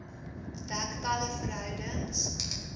dek talle verhoudings